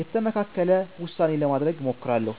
የተመካከለ ውሳኔ ለማድረግ እሞክራለሁ።